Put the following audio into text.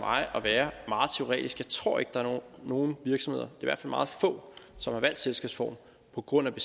at være meget teoretisk jeg tror ikke der er nogen virksomheder i hvert fald meget få som har valgt selskabsform på grund